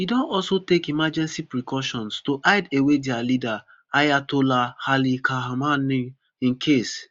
e don also take emergency precautions to hide away dia leader ayatollah ali khamanei in case